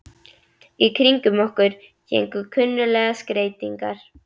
Í kringum okkur héngu kunnuglegar skreytingar.